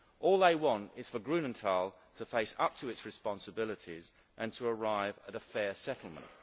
All they want is for Grünenthal to face up to its responsibilities and to arrive at a fair settlement.